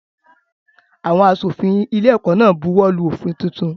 Àwọn aṣòfin ilé-ẹ̀kọ́ náà buwọ́lù òfin tuntun.